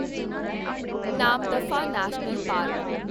Namdapha national park